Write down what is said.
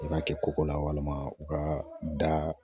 I b'a kɛ koko la walima u ka da